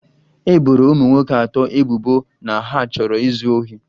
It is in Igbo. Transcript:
E boro ụmụ nwoke atọ ebubo na ha chọrọ izu ohi